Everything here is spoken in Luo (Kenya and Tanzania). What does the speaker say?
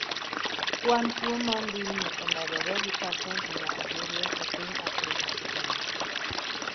kwan tuo mar tuolme omedore gi pasent mia biriyo e piny Afrika higani